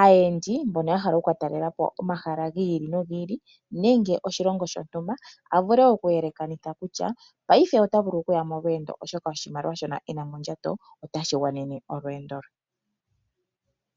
aayendi mbono ya hala okuka talelapo omahala gi ili nogi ili nenge oshilongo shontumba avule oku yelekanitha kutya paife ita vulu kuya molwendo oshoka oshimaliwa shoka ena mondjato otashi gwana molwendi lwe.